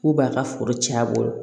K'u b'a ka foro cɛn a bolo